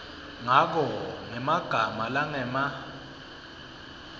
ngako ngemagama langema